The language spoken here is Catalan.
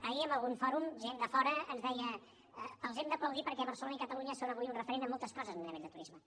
ahir en algun fòrum gent de fora ens deia els hem d’aplaudir perquè barcelona i catalunya són avui un referent en moltes coses a nivell de turisme